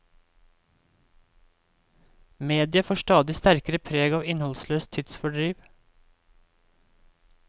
Mediet får stadig sterkere preg av innholdsløst tidsfordriv.